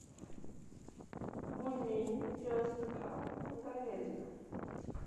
бульмени девяносто грамм говядина